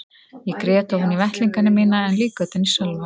Ég grét ofan í vettlingana mína en líka utan í Sölva.